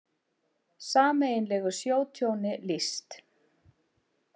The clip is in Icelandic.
Sameiginlegu sjótjóni lýst